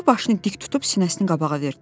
O başını dik tutub sinəsini qabağa verdi.